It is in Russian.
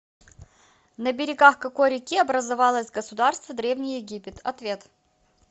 на берегах какой реки образовалось государство древний египет ответ